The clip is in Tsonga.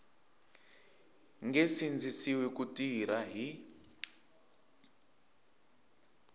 nge sindzisiwi ku tirha hi